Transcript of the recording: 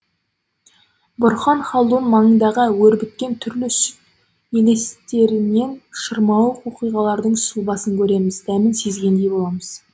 бұрхан халдун маңындағы өрбіткен түрлі сүт елестерінен шырмауық оқиғалардың сұлбасын көреміз дәмін сезгендей боламыз